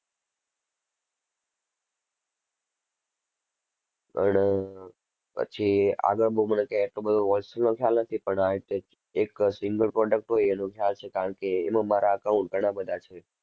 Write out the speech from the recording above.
પણ પછી આગળ બહુ મને કઈ એટલો બધો wholesale નો ખ્યાલ નથી પણ આ રીતે એક single product હોય એનો ખ્યાલ છે કારણ કે એમાં મારા account ઘણા બધા છે.